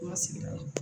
An ka sigida la